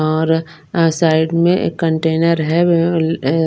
और साइड में कंटेनर है।